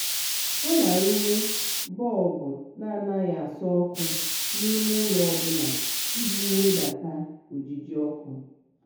ha na-arụnye bọlbụ na-anaghị asọ ọkụ n'ime ụlọ ọbụla iji wedata ojiji ọkụ.